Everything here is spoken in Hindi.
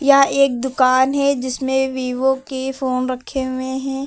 यह एक दुकान है जिसमें वीवो की फोन रखे हुए हैं।